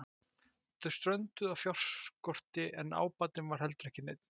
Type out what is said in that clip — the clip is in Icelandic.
Þeir strönduðu á fjárskorti en ábatinn var heldur ekki neinn.